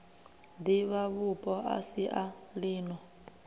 divhavhupo a si a lino